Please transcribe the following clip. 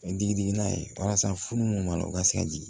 Mɛ digi digi n'a ye walasa furu minnu b'a la u ka se ka jigin